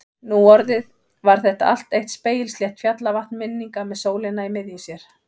Nú orðið var þetta allt eitt spegilslétt fjallavatn minninga með sólina í miðju sér.